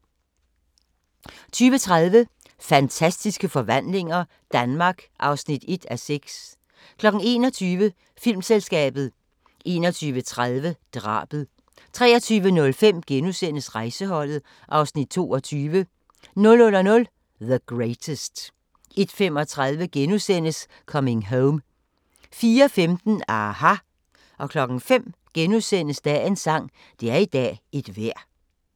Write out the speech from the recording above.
20:30: Fantastiske forvandlinger – Danmark (1:6) 21:00: Filmselskabet 21:30: Drabet 23:05: Rejseholdet (Afs. 22)* 00:00: The Greatest 01:35: Coming Home * 04:15: aHA! 05:00: Dagens sang: Det er i dag et vejr *